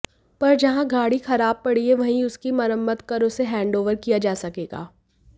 पर जहां गाड़ी खराब पड़ी है वहीं उसकी मरम्मत कर उसे हैंडओवर किया जा सकेगा